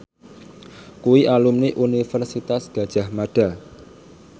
kuwi alumni Universitas Gadjah Mada